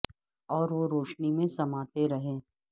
اور وہ روشنی میں سماتے رہے